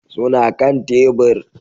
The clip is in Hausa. Suna kan tebur